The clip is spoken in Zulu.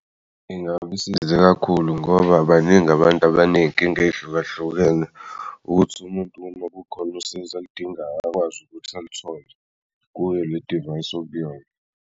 Ingabi size kakhulu ngoba baningi abantu abaney'nking ey'hlukahlukene ukuthi umuntu uma kukhona usizo aludingayo akwazi ukuthi alithole kuyo le device okuyona.